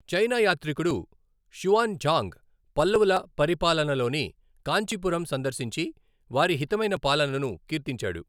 China యాత్రికుడు Xuanzang, పల్లవుల పరిపాలనలోని కాంచీపురం సందర్శించి వారి హితమైన పాలనను కీర్తించాడు.